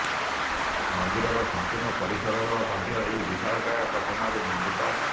ମନ୍ଦିରର ସମ୍ପୁର୍ଣ୍ଣ ପରିସର ମଧ୍ୟ ଏହି ବିଶାଳକାୟ ଚଟାଣରେ ନିର୍ମିତ